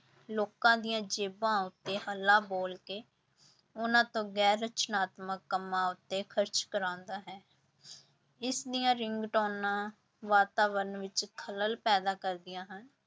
ਲੋਕਾਂ ਦੀਆਂ ਜੇਬਾਂ ਉੱਤੇ ਹੱਲਾ ਬੋਲ ਕੇ ਉਹਨਾਂ ਤੋਂ ਗੈਰ ਰਚਨਾਤਮਕ ਕੰਮਾਂ ਉੱਤੇ ਖ਼ਰਚ ਕਰਵਾਉਂਦਾ ਹੈ ਇਸਦੀਆਂ ਰਿੰਗਟੋਨਾਂ ਵਾਤਾਵਰਨ ਵਿੱਚ ਖਲਲ ਪੈਦਾ ਕਰਦੀਆਂ ਹਨ।